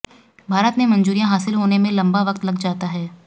भारत में मंजूरियां हासिल होने में लंबा वक्त लग जाता है